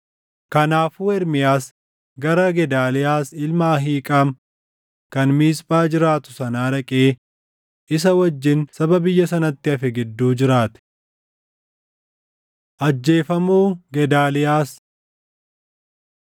Kanaafuu Ermiyaas gara Gedaaliyaas ilma Ahiiqaam kan Miisphaa jiraatu sanaa dhaqee isa wajjin saba biyya sanatti hafe gidduu jiraate. Ajjeefamuu Gedaaliyaas 40:7‑9; 41:1‑3 kwf – 2Mt 25:22‑26